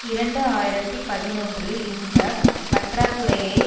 இரண்டு ஆயிரத்தி பதினொன்றில் இந்த பற்றாக்குறையை